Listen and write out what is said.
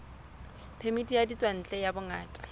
phemiti ya ditswantle ya bongaka